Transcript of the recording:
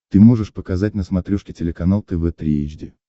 ты можешь показать на смотрешке телеканал тв три эйч ди